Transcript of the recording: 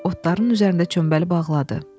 Otların üzərində çömbəli bağladı.